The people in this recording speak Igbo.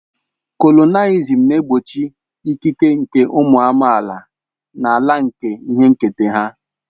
Kolonịalịzim na-egbochi ịkịke nke ụmụ amaala n'ala nke ihe nketa ha.